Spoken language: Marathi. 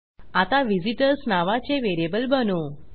आता व्हिझिटर्स नावाचे व्हेरिएबल बनवू